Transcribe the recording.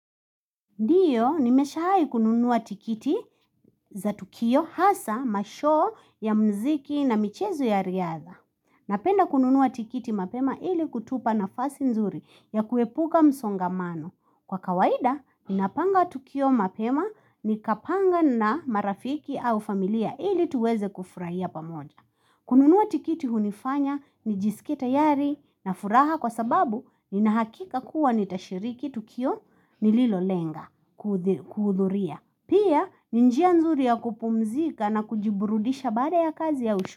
Ndiyo, nimeshawai kununua tikiti za tukio hasaa mashoo ya mziki na michezo ya riadha. Napenda kununuwa tikiti mapema ili kutupa nafasi nzuri ya kuepuka msongamano. Kwa kawaida, ninapanga tukio mapema nikapanga na marafiki au familia ili tuweze kufurahia pamoja. Kununua tikiti hunifanya nijisikie tayari na furaha kwa sababu nina hakika kuwa nitashiriki tukio nililolenga kuhudhuria Pia ni njia nzuri ya kupumzika na kujiburudisha baada ya kazi ya.